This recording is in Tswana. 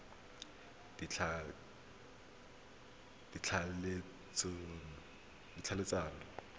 ditlhaeletsano